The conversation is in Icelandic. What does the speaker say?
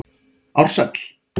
Ársæl